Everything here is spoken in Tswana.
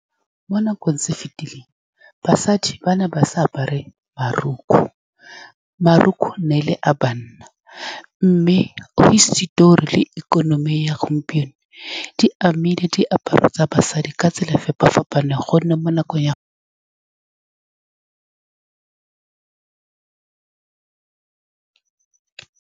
Mo nakong tse difetileng, basadi ba ne ba sa apare marukgwe. Marukwe e ne e le a banna, mme hisitori le ikonomi ya gompieno di amile diaparo tsa basadi ka tsela e e fapa-fapaneng ka gonne mo nakong ya.